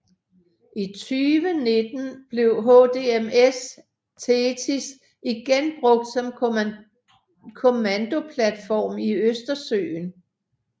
I 2019 blev HDMS THETIS igen brugt som kommandoplatform i Østersøen